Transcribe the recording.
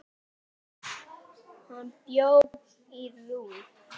Hann bjó í Róm.